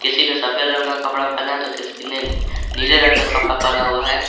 किसी ने सफेद रंग का कपड़ा पहना है तो किसी ने नीले रंग का कपड़ा पहना हुआ है।